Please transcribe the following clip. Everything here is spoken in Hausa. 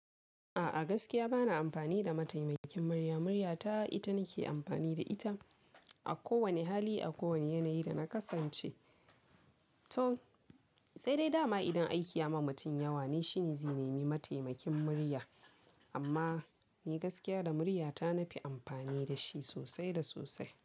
A'a gaskiya bana amfani da mataimakin murya, murya ta ita nake amfani da ita a kowane hali, a kowane yanayi da na kasance. To saidai dama idan aiki ya ma mutum yawa ne shine zai nemi mataimakin murya amma ni gaskiya da muryata na fi amfani da shi sosai da sosai.